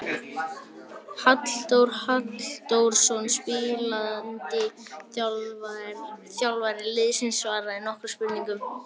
Halldór Halldórsson spilandi þjálfari liðsins svaraði nokkrum spurningum.